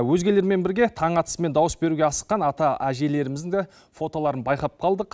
өзгелермен бірге таң атысымен дауыс беруге асыққан ата әжелеріміздің де фотоларын байқап қалдық